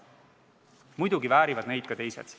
Muidugi väärivad neid ka teised.